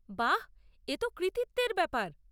বাহ্! এতো কৃতিত্বের ব্যাপার।